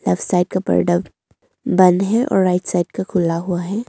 Left side का product बंद है और राइट साइड का खुला हुआ है।